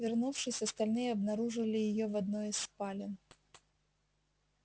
вернувшись остальные обнаружили её в одной из спален